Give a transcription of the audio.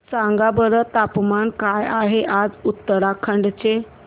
सांगा बरं तापमान काय आहे आज उत्तराखंड चे